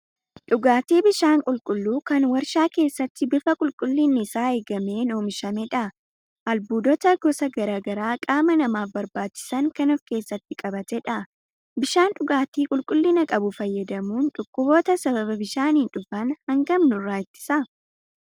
Dhugaatii bishaan qulqulluu kan warshaa keessatti bifa qulqullinni isaa eegameen oomishamedha. Albuudota gosa garaa garaa qaama namaaf barbaachisan kan ofkeessatti qabatedha. Bishaan dhugaatii qulqullina qabu fayyadamuun dhukkuboota sababa bishaaniin dhufan hangam nurraa ittisa?